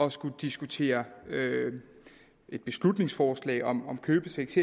at skulle diskutere et beslutningsforslag om om købesex